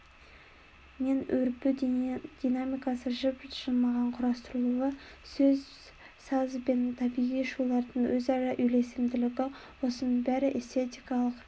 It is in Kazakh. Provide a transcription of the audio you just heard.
мен өрбу динамикасы жып-жылмағай құрастырылуы сөз саз бен табиғи шулардың өзара үйлесімділігі осының бәрі эстетикалық